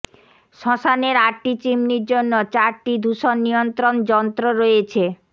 শ্মশানের আটটি চিমনির জন্য চারটি দূষণ নিয়ন্ত্রণ যন্ত্র রয়েছে